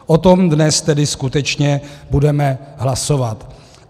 O tom dnes tedy skutečně budeme hlasovat.